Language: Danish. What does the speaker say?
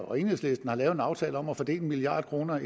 og enhedslisten har lavet en aftale om at fordele en milliard kroner